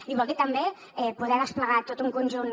i vol dir també poder desplegar tot un conjunt